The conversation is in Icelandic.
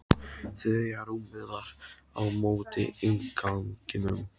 Þriðja rúmið var á móti innganginum.